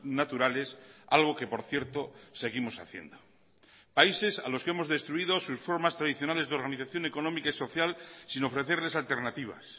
naturales algo que por cierto seguimos haciendo países a los que hemos destruido sus formas tradicionales de organización económica y social sin ofrecerles alternativas